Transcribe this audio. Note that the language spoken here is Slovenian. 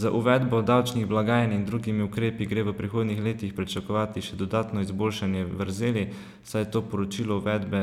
Z uvedbo davčnih blagajn in drugimi ukrepi gre v prihodnjih letih pričakovati še dodatno izboljšanje vrzeli, saj to poročilo uvedbe